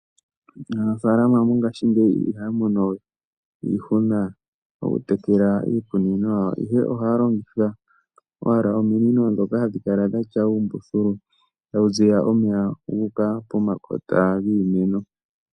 Aanafalama mongashingeyi ihaya mono we iihuna mokutekela iimeno yawo. Ohaya longitha ominino ndhoka hadhi kala dhina uumbululu tawu ziya omeya guuka pomakota giimeno.